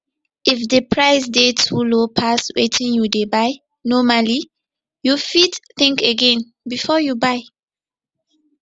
if di price dey too low pass wetin you dey buy normally you fit think again before you buy